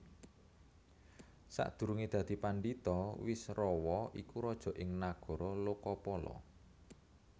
Sakdurungé dadi pandhita Wisrawa iku raja ing Nagara Lokapala